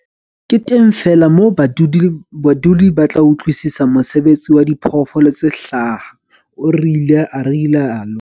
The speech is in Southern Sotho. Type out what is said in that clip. Ke teng feela moo badudi ba tla utlwisisa mosebetsi wa diphoofolo tse hlaha, o ile a rialo.